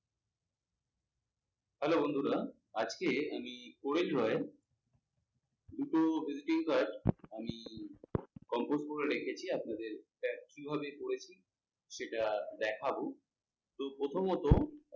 Hello বন্ধুরা আজকে আমি কোয়েল রায়ের editing দুটো কাজ আমি করে রেখেছি আপনাদের কিভাবে করে সেটা দেখাবো তো প্রথমত আহ